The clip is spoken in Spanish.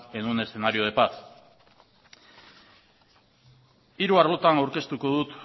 en un escenario de paz hiru arlotan aurkeztuko dut